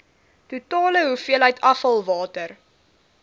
totale hoeveelheid afvalwater